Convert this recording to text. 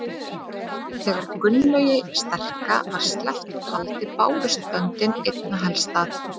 Þegar Gunnlaugi sterka var sleppt úr haldi bárust böndin einna helst að